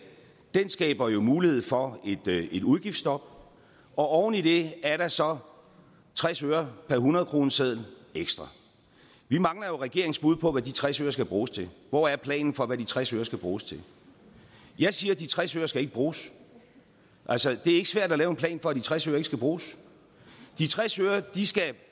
skaber jo mulighed for et udgiftsstop og oven i det er der så tres øre per hundredkroneseddel ekstra vi mangler jo regeringens bud på hvad de tres øre skal bruges til hvor er planen for hvad de tres øre skal bruges til jeg siger at de tres øre ikke skal bruges altså det er ikke svært at lave en plan for at de tres øre ikke skal bruges de tres øre skal